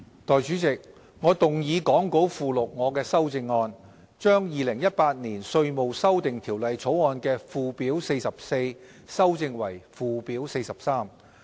代理主席，我動議講稿附錄我的修正案，把《2018年稅務條例草案》的"附表 44" 修正為"附表 43"。